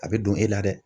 A bɛ don e la dɛ